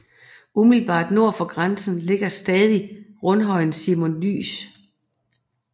Umiddelbart nord for grænsen ligger stadig rundhøjen Simon Dyes